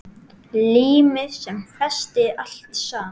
Límið sem festi allt saman.